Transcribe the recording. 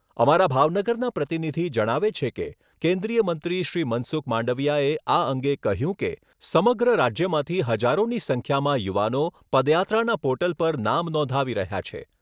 અમારા ભાવનગરના પ્રતિનિધિ જણાવે છે કે, કેન્દ્રીય મંત્રી શ્રી મનસુખ માંડવિયાએ આ અંગે કહ્યું કે, સમગ્ર રાજ્યમાંથી હજારોની સંખ્યામાં યુવાનો પદયાત્રાના પોર્ટલ પર નામ નોંધાવી રહ્યા છે.